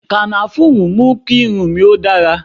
Kànáfùrú mú kí irun mi ó dára